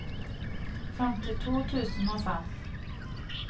femtito tusen og fem